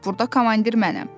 Burda komandir mənəm!